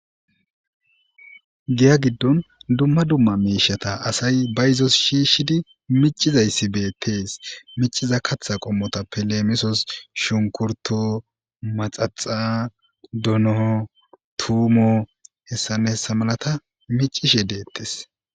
giya giddon dumma dumma mishata asay ba izos shiishshidi micizayssi beettees miciza katha qommota peleemisos shunkurto maxaxa donoo tuumo hessan hessa malata micishe deettes